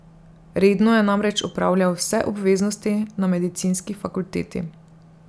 Redno je namreč opravljal vse obveznosti na medicinski fakulteti.